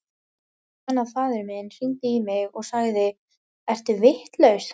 Ég man að faðir minn hringdi í mig og sagði, ertu vitlaus?